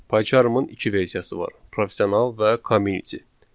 PyCharm-ın iki versiyası var: Professional və Community.